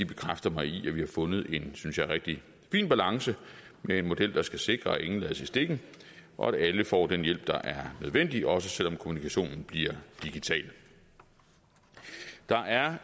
bekræfter mig i at vi har fundet en synes jeg rigtig fin balance med en model der skal sikre at ingen lades i stikken og at alle får den hjælp der er nødvendig også selv om kommunikationen bliver digital der er